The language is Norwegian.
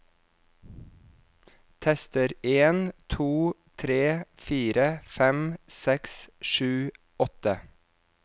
Tester en to tre fire fem seks sju åtte